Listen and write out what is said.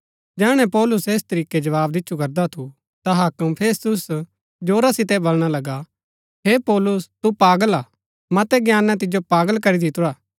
जैहणै पौलुस ऐस तरीकै जवाव दिच्छु करदा थु ता हाक्म फेस्तुस जोरा सितै बलणा लगा हे पौलुस तु पागल हा मतै ज्ञानै तिजो पागल करी दितुरा